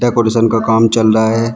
Decoration का काम चल रहा है।